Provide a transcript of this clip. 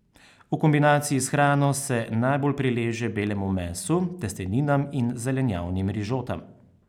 V kombinaciji s hrano se najbolj prileže belemu mesu, testeninam in zelenjavnim rižotam.